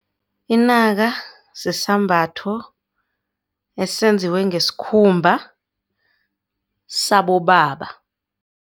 Inaka sisambatho esenziwe ngesikhumba sabobaba.